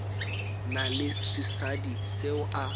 na le sesadi seo a